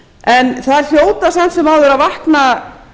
en það hljóta samt sem áður að vakna